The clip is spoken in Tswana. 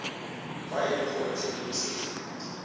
fa e le gore tshedimosetso